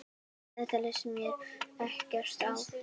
Þetta leist mér ekkert á.